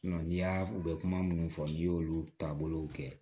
n'i y'a u bɛ kuma minnu fɔ n'i y'olu taabolow kɛ